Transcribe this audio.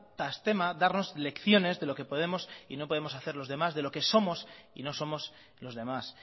tras tema de darnos lecciones de lo que podemos y no podemos hacer los demás de lo que somos y no somos los demás